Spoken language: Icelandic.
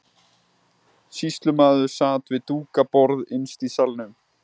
Sýslumaður sat við dúkað borð innst í salnum.